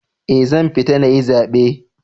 Eh, zan fita nayi zabe.